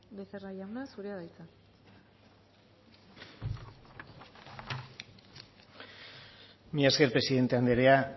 becerra jauna zurea da hitza mila esker presidente andrea